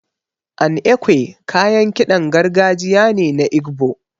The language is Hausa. An Ekwe kayan kiɗan gargajiya ne na Igbo.